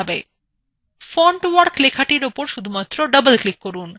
fontwork লেখাটির উপর শুধুমাত্র doubleclick করুন